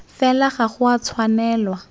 fela ga go a tshwanelwa